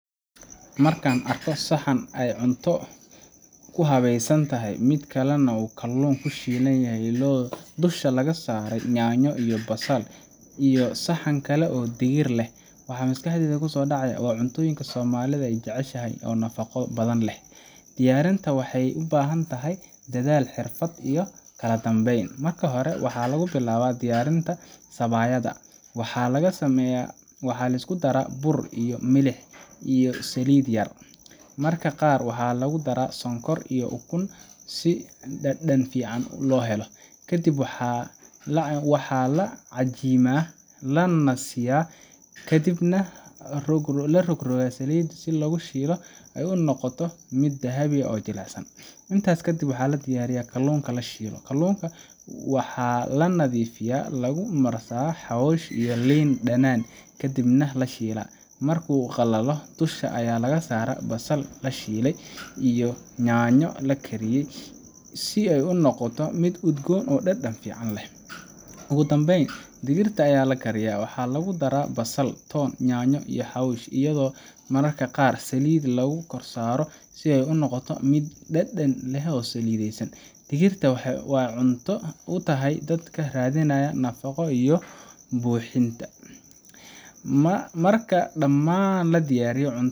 Marka aan arko saxan ay cunto ku habaysan tahay mid kale oo leh kalluun la shiilay oo dusha laga saaray yaanyo iyo basal, iyo saxan kale oo leh digir, waxa maskaxdayda ku soo dhacaya cuntoyinka Soomaali jecel yahay oo nafaqo badan leh. Diyaarinteeda waxay u baahan tahay dadaal, xirfad iyo kala dambeyn. Marka hore waxaa la bilaabaa diyaarinta sabaayadda. Waxaa la isku daraa bur, biyo, milix, iyo saliid yar. Mararka qaar waxaa lagu daraa sonkor iyo ukun si dhadhan fiican loo helo. Kadib waxaa la cajiimaa, la nasiiyaa, ka dibna la rogrogaa oo saliid lagu shiilaa ilaa ay ka noqoto mid dahabi ah oo jilicsan. Intaas kadib waxaa la diyaariyaa kalluunka la shiilayo. Kalluunka waxaa la nadiifiyaa, lagu marsadaa xawaash iyo liin dhanaan, kadibna la shiilaa. Markuu qalalo, dusha ayaa laga saaraa basal la shiilay iyo yaanyo la kariyey si uu u noqdo mid udgoon oo dhadhan fiican leh. Ugu dambeyn, digirta ayaa la kariyaa. Waxaa lagu daraa basal, toon, yaanyo, iyo xawaash, iyadoo mararka qaar saliid yar lagu karsado si ay u noqoto mid dhadhan leh oo saliidaysan. Digirta waxay cunto u tahay dadka raadinaya nafaqo iyo cunto buuxisa. Marka dhammaan la diyaariyo,